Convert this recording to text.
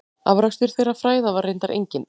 Afrakstur þeirra fræða var reyndar enginn.